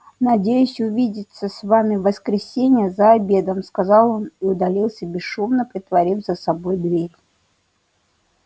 надеюсь увидеться с вами в воскресенье за обедом сказал он и удалился бесшумно притворив за собой дверь